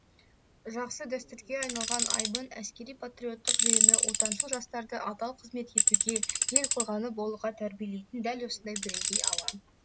жақсы дәстүрге айналған айбын әскери патриоттық жиыны отаншыл жастарды адал қызмет етуге ел қорғаны болуға тәрбиелейтін дәл осындай бірегей алаң